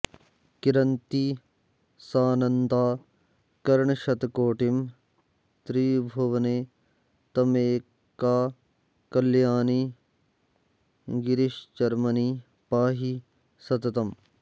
किरन्ती सानन्दा किरणशतकोटिं त्रिभुवने त्वमेका कल्याणि गिरिशरमणिं पाहि सततम्